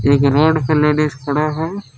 एक रोड पे लेडीज खड़ा है।